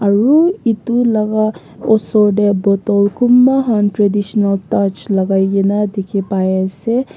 aru etu laga osor te bottle kunba khan traditional touch lagai kena dikhi pai ase.